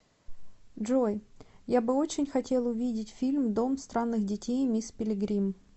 джой я бы очень хотел увидеть фильм дом странных детей мисс пилигрим